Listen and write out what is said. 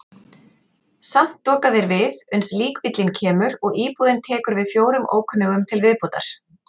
Samt doka þeir við uns líkbíllinn kemur og íbúðin tekur við fjórum ókunnugum til viðbótar.